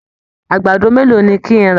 Àgbàdo mélòó ni kí n rà?